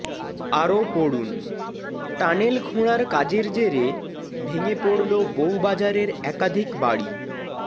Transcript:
আরও পড়ুন টানেল খোঁড়ার কাজের জেরে ভেঙে পড়ল বউবাজারের একাধিক বাড়ি